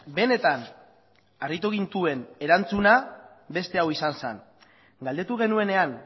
benetan harritu gintuen erantzuna beste hau izan zen galdetu genuenean